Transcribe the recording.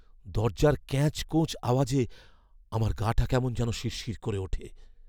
দরজার ক্যাঁচকোঁচ আওয়াজে আমার গা'টা কেমন যেন শিরশির করে ওঠে।